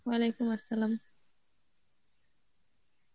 Arbi